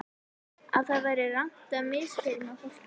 Að það væri rangt að misþyrma fólki.